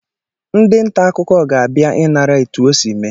Ndị nta akụkọ ga-abịa ịnara etu o si mee